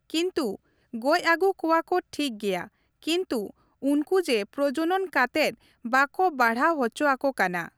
ᱠᱤᱱᱛᱩ ᱜᱚᱡ ᱟᱹᱜᱩ ᱠᱚᱣᱟ ᱠᱚ ᱴᱷᱤᱠ ᱜᱮᱭᱟ ᱠᱤᱱᱛᱩ ᱩᱱᱠᱩ ᱡᱮ ᱯᱨᱚᱡᱚᱱᱚᱱ ᱠᱟᱛᱮᱜ ᱵᱟᱠᱚ ᱵᱟᱲᱦᱟᱣ ᱚᱪᱚ ᱟᱠᱚ ᱠᱟᱱᱟ ᱾